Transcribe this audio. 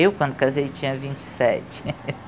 Eu, quando casei, tinha vinte e sete